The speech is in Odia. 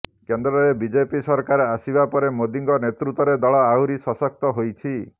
କେନ୍ଦ୍ରରେ ବିଜେପି ସରକାର ଆସିବା ପରେ ମୋଦିଙ୍କ ନେତୃତ୍ୱରେ ଦଳ ଆହୁରି ସଶକ୍ତ ହୋଇଛି